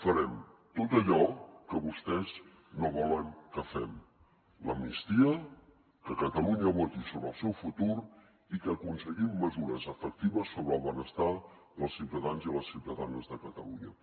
farem tot allò que vostès no volen que fem l’amnistia que catalunya voti sobre el seu futur i que aconseguim mesures efectives sobre el benestar dels ciutadans i les ciutadanes de catalunya